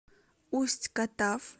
усть катав